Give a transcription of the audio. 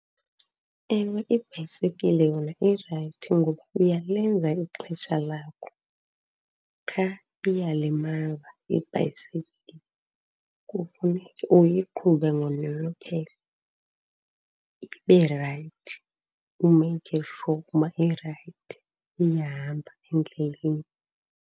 Ewe, ibhayisekile yona irayithi ngoba uyalenza ixesha lakho, qha iyalimaza ibhayisekile. Kufuneke uyiqhube ngononophelo ibe rayithi, umeyikhe sure uba irayithi, iyahamba endleleni.